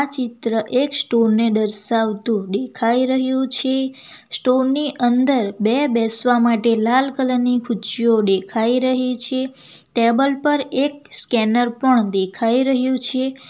ચિત્ર એક સ્ટોર ને દર્શાવતું દેખાઈ રહ્યું છે સ્ટોર ની અંદર બે બેસવા માટે લાલ કલર ની ખુરચીઓ દેખાઈ રહી છે ટેબલ પર એક સ્કેનર પણ દેખાઈ રહ્યું છે.